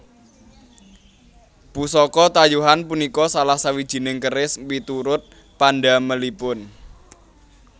Pusaka tayuhan punika salah sawijining keris miturut pandamelipun